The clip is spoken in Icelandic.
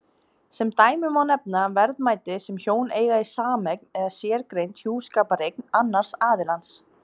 Sem dæmi má nefna verðmæti sem hjón eiga í sameign eða sérgreind hjúskapareign annars aðilans.